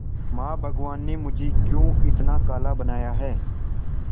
मां भगवान ने मुझे क्यों इतना काला बनाया है